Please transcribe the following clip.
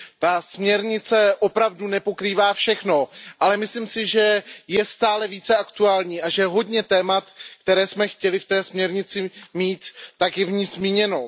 Ta směrnice opravdu nepokrývá všechno, ale myslím si, že je stále více aktuální a že hodně témat, která jsme chtěli ve směrnici mít, je v ní zmíněno.